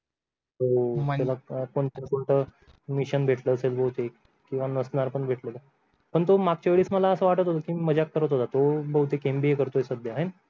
त्याला कोणत मिशन भेटलं असेल बहुतेक किंवा नसणार पण भेटलं पण मागच्या वेळेस मला अस वाटलं होत तो मजाक करत होता तो बहुतेक तो MBA करतो आहे सध्या हायण